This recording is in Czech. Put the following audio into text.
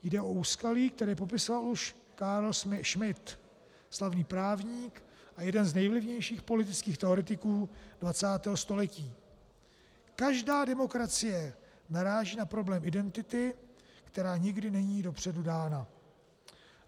Jde o úskalí, které popisoval už Carl Schmitt, slavný právník a jeden z nejvlivnějších politických teoretiků 20. století: Každá demokracie naráží na problém identity, která nikdy není dopředu dána.